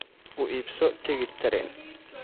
u iibso tigidh tareen